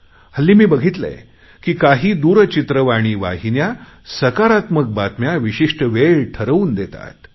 हल्ली मी बघितले आहे की काही दूरचित्रवाणी वाहिन्या सकारात्मक बातम्या विशिष्ट वेळ ठरवून देतात